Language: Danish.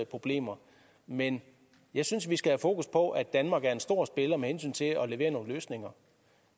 problemer men jeg synes vi skal have fokus på at danmark er en stor spiller med hensyn til at levere nogle løsninger